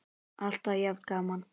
Alltaf jafn gaman!